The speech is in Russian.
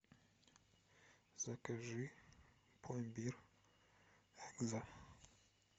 закажи пломбир экзо